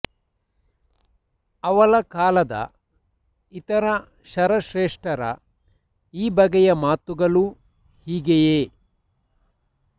ಅವಳ ಕಾಲದ ಇತರ ಶರಶ್ರೇಷ್ಠರ ಈ ಬಗೆಯ ಮಾತುಗಳೂ ಹೀಗೆಯೇ